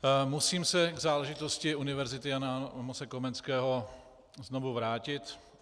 Musím se k záležitosti Univerzity Jana Amose Komenského znovu vrátit.